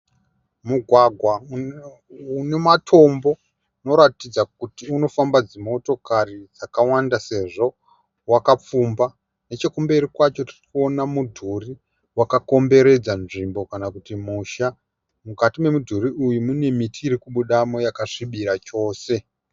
Mugwagwa une matombo unoratidza kuti unofamba dzimotokari dzakawanda sezvo wakapfumba. Nechekumberi kwacho tirikuona mudhuri wakakomberedza nzvimbo kana kuti musha, mukati memudhuri uyu mune miti irikubudamo yakasvibira chose.